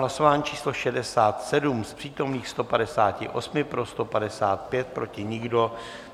Hlasování číslo 67, z přítomných 158 pro 155, proti nikdo.